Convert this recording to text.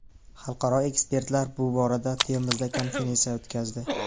Xalqaro ekspertlar shu borada Termizda konferensiya o‘tkazdi.